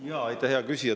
Jaa, aitäh, hea küsija!